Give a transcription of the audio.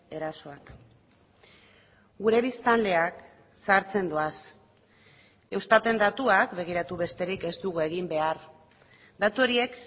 erasoak gure biztanleak zahartzen doaz eustaten datuak begiratu besterik ez dugu egin behar datu horiek